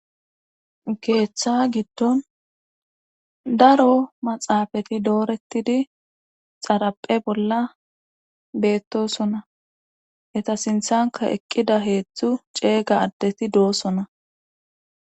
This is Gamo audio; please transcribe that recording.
geeththa giddon daro maxaafati doorettidi xaraphe bolla beettosona heta sinthanka eqqida heeththu ceega addeti doosona